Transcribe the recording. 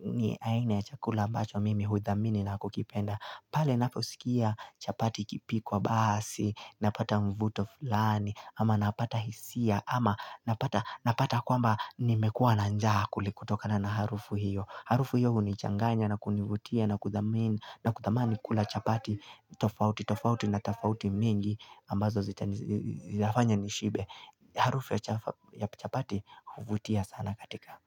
ni aina ya chakula ambacho mimi husamini na kukipenda. Pale ninaposikia chapati ikipikwa basi, napata mvuto fulani, ama napata hisia, ama napata kwamba nimekuwa nanja kuli kutokana na harufu hiyo. Harufu hiyo huni changanya na kunivutia na kutamani kula chapati tofauti na tafauti mingi ambazo zitafanya nishibe. Harufu ya chapati uvutia sana katika.